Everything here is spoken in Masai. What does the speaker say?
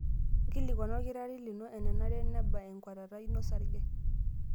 Nkilikuana olkitarri lino enenare neba enkuatata ino osarge.